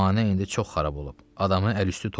Zəmanə indi çox xarab olub.